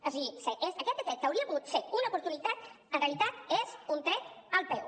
o sigui aquest decret que hauria pogut ser una oportunitat en realitat és un tret al peu